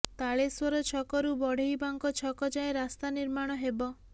ତାଳେଶ୍ୱର ଛକରୁ ବଢେଇବାଙ୍କ ଛକ ଯାଏଁ ରାସ୍ତା ନିର୍ମାଣ ହେବ